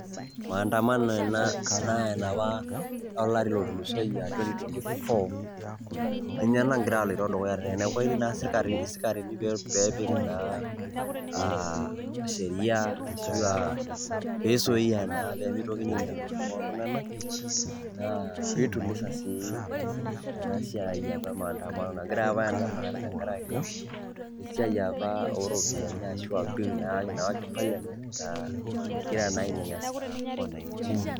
maandamano ena naa enapa olari lotulusoyie a twety-twenty-four, ninye nagira aloito dukuya tene, neeku etii naa isikarini pee epik naa a sheria ashu a pee isuai naa pee mitokini ainyal ntokitin oltung'anak, naa piituliza sii ena siai apa e maandamano nagirai apa aindamana tenkaraki esiai apa oropiani ashu a bill nayawaki parliament nagira naa ainyanyasa wananchi.